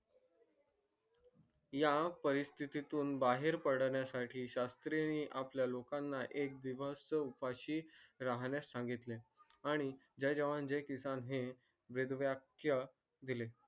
या परिस्तीतून बाहेर पडण्या साठी शास्री आपल्या लोकांना एका दिवस उपाशी राहण्यास सांगितले आणि जय जवान जय किसान हे वेद वाक्य दिले